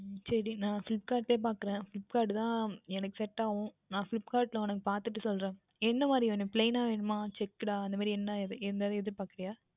உம் சரி நான் Flipkart லயே பார்க்கின்றேன் Flipkart தான் எனக்கு Set ஆகும் நான் Flipkart யில் நான் உனக்கு பார்த்துவிட்டு சொல்லுகின்றேன் என்ன மாதிரி வேண்டும் Plain ணக வேண்டுமா Checked டா இல்லை எதாவுது எதிர் பார்க்கின்றாயா